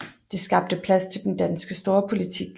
Det skabte plads til den danske storpolitik